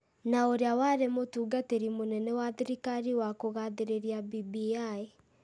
na ũrĩa warĩ mũtungatĩri mũnene wa thirikari wa kũgathĩrĩria BBI.